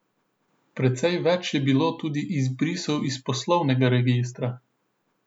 Precej več je bilo tudi izbrisov iz poslovnega registra.